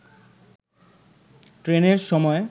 ট্রেনের সময়